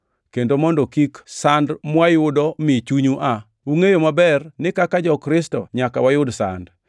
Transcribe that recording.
kendo mondo kik sand mwayudo mi chunyu aa. Ungʼeyo maber ni kaka jo-Kristo nyaka wayud sand.